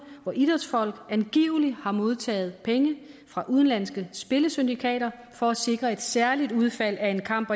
hvor idrætsfolk angiveligt har modtaget penge fra udenlandske spillesyndikater for at sikre et særligt udfald af en kamp